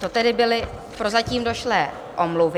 To tedy byly prozatím došlé omluvy.